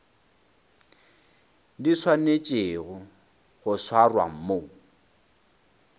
di swanetšego go swarwa mo